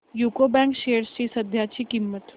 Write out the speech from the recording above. UCO bank shares ची सध्याची किंमत